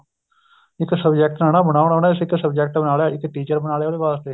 ਇੱਕ subject ਨਾ ਨਾ ਬਣਾਉਣ ਇੱਕ subject ਬਣਾ ਲਿਆ ਇੱਕ teacher ਬਣਾ ਲਿਆ ਉਹਦੇ ਵਾਸਤੇ